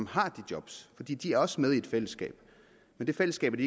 har de job fordi de også er med i et fællesskab men det fællesskab er